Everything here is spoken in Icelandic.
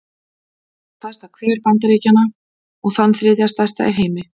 Hér má sjá stærsta hver Bandaríkjanna, og þann þriðja stærsta í heimi.